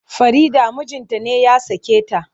Farida mijinta ne ya sake ta.